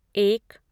एक